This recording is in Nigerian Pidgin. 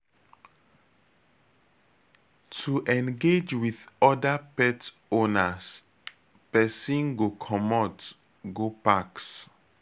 To engage with oda pet owners, person go comot go packs